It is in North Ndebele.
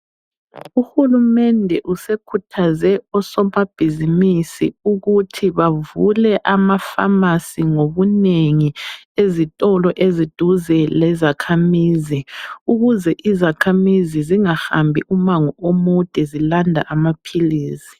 Uhulumede usekhuthaze osomabhizimisi ukuthi bavule amapharmacy ngobunengi ezitolo eziduze lezakhamizi ukuze izakhamizi zingahambi umango omude zilanda amaphilisi.